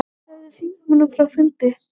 Sagði þingmönnum frá fundi